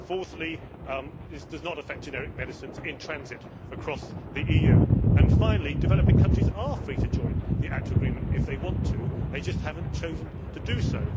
Fourthly, this does not affect generic medicines in transit across the EU, and finally, developing countries are free to join the ACTA agreement if they want to. They just have not chosen to do so.